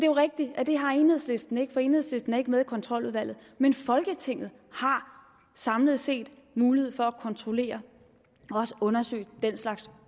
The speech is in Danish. jo rigtigt at det har enhedslisten ikke for enhedslisten er ikke med i kontroludvalget men folketinget har samlet set mulighed for at kontrollere og undersøge den slags